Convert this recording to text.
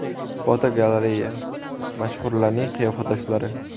Fotogalereya: Mashhurlarning qiyofadoshlari.